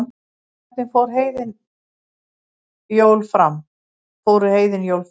hvernig fóru heiðin jól fram